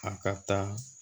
A ka taa